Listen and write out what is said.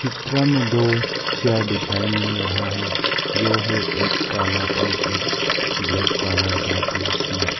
चित्र में दो चेयर दिखाई मिल रहा है जो है एक काला और एक ब्लैक कलर का कुर्सी।